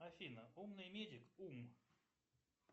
афина умный медик ум